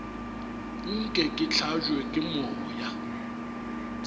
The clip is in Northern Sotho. nke ke hlabje ke moya